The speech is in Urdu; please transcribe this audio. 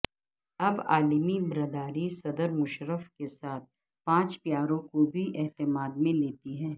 اب عالمی برادری صدر مشرف کے ساتھ پانچ پیاروں کو بھی اعتماد میں لیتی ہے